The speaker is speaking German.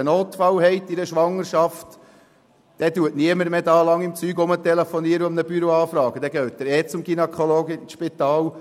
Wenn in einer Schwangerschaft ein Notfall auftritt, telefoniert niemand mehr herum und fragt in einem Büro nach, sondern man geht ohnehin zu einem Gynäkologen ins Spital.